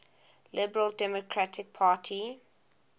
liberal democratic party